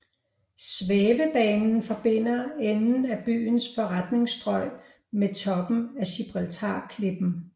Svævebanen forbinder enden af byens forretningsstrøg med toppen af Gibraltarklippen